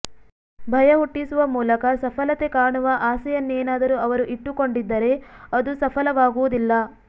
ಭಯ ಹುಟ್ಟಿಸುವ ಮೂಲಕ ಸಫಲತೆ ಕಾಣುವ ಆಸೆಯನ್ನೇನಾದರೂ ಅವರು ಇಟ್ಟುಕೊಂಡಿದ್ದರೆ ಅದು ಸಫಲವಾಗುವುದಿಲ್ಲ